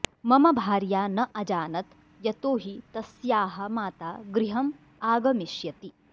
मम भार्या न अजानत् यतो हि तस्याः माता गृहम् आगमिष्यति